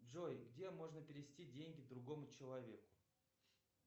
джой где можно перевести деньги другому человеку